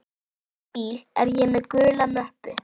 úti í bíl er ég með gula möppu.